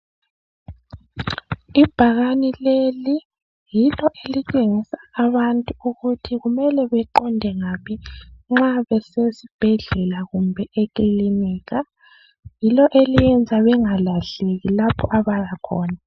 Ibhakane leli yilo elitshengisa abantu ukuthi kumele beqonde ngaphi nxa besezibhedlela kumbe ekilinika yilo eliyenza bengalahleki lapho abayakhona